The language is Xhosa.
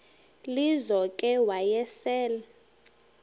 lizo ke wayesel